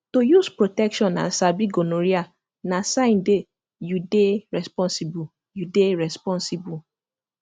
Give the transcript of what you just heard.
to use protection and sabi gonorrhea na sign day you dey responsible you dey responsible